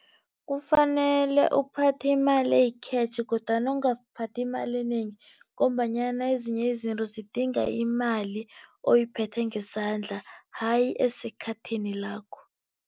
Kufanele ukuphatha imali eyi-cash kodwana ungaphathi imali enengi ngombanyana ezinye izinto zidinga imali oyiphethe ngesandla hayi esekhathini lakho.